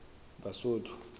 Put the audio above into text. basotho